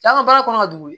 Taa ka baara kɔnɔ ka dogo